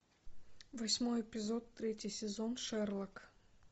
восьмой эпизод третий сезон шерлок